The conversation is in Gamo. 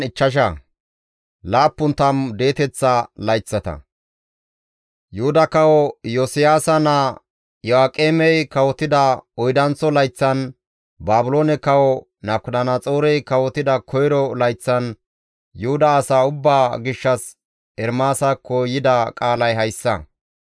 Yuhuda kawo Iyosiyaasa naa Iyo7aaqemey kawotida oydanththo layththan, Baabiloone kawo Nabukadanaxoorey kawotida koyro layththan Yuhuda asaa ubbaa gishshas Ermaasakko yida qaalay hayssa.